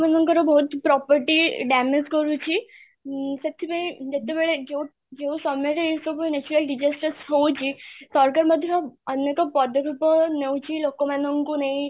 ମାନଙ୍କର ବହୁତ property damage କରୁଛି ମ୍ ସେଥିପାଇଁ ଯେତେବେଳେ ଯୋଉ, ଯୋଉ ସମୟରେ ଏଇ ସବୁ natural disasters ହଉଛି ସରକାର ମଧ୍ୟ ଅନ୍ୟ ତ ପଦ ରୂପ ନଉଛି ଲୋକ ମାନଙ୍କୁ ନେଇ